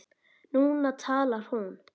Núna talar hún.